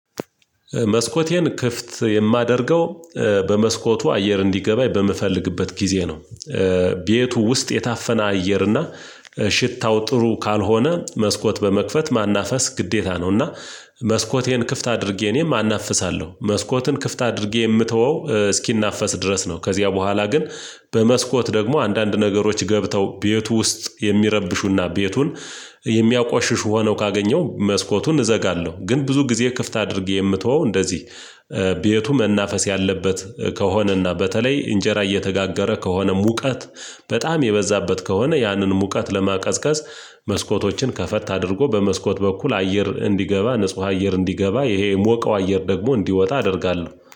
መስኮቴን ክፍት የማደርገው በመስኮቱ አየር እንዲገባ በምፈልግበት ጊዜ ነው። ቤቱ ውስጥ የታፈነ አየር እና ሽታው ጥሩ ካልሆነ መስኮት በመክፈት ማናፈስ ግዴታ ነው። እና መስኮቴን ክፍት አድርጌ እኔም አናፍሳለሁ መስኮትን ክፍት አድርጌ የምተወው እስኪናፈስ ድረስ ነው። ከዚያ በኋላ ግን በመስኮት ደግሞ አንዳንድ ነገሮች ገብተው ቤቱ ውስጥ የሚረብሹና ቤቱን የሚያቆሽሽ ሆነው ካገኘው መስኮቱን እዘጋለሁ። ግን ብዙ ጊዜ ክፍት አድርጌ የምተወው እንደዚህ ቤቱ መናፈስ ያለበት ከሆነና በተለይ እንጀራ እየተጋገረ ከሆነ ሙቀት በጣም የበዛበት ከሆነ ያንን ሙቀት ለማቀዝቀዝ። መስኮቶችን ከፈታ አድርጎ በመስኮት በኩል አየር እንዲገባ ንጹህ አየር እንዲገባ ይሄ የሞቀው አየር ደግሞ እንዲወጣ አደርጋለሁ